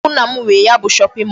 Ọ bụ nna m nwe ya bụ shopping mall.